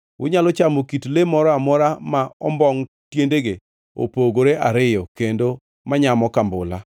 Unyalo chamo kit le moro amora ma ombongʼ tiendegi opogore ariyo kendo manyamo kambula.